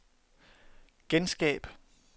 genskab